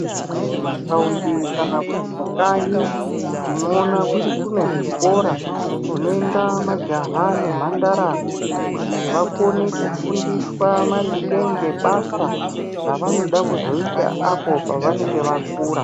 Mumathaunda kana kuti kukanyi tinoona kuti kune zvikora zvinoenda majaha nemhandara kuti vakone kufundiswa maringe ngebasa ravanoda kuzoita apo pavanonge vakura.